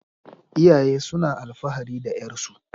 Iyaye suna alfahari da 'yarsu.